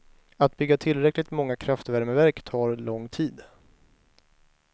Att bygga tillräckligt många kraftvärmeverk tar lång tid.